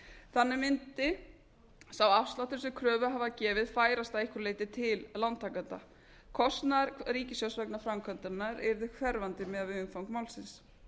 þannig mundi sá afsláttur sem kröfuhafar gefið færast að einhverju leyti til lántakenda kostnaður ríkissjóðs vegna framkvæmdarinnar yrði hverfandi miðað við umfang málsins